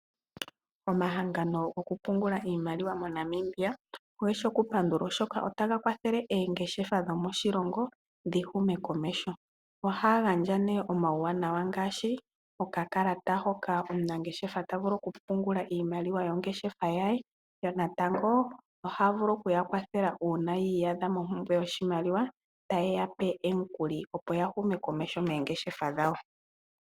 Omahangano goku pungula moNamibia ogeshi oku pangulwa oshoka otaga kwathele oongeshefa dhomoshilongo dhihume komeho. Ohaya gandja omauwanawa ngashi oka kalata hoka omunangeshefa tavulu oku pungula iimaliwa yongeshefa yaye yonatango ohaya vulu okuya kwathela una yi iyadha mompumbwe yoshimaliwa taye yape omukuli opya hume komeho nongeshefa dhawo.